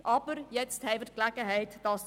Nun haben wir die Gelegenheit dazu.